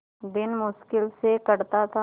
दिन मुश्किल से कटता था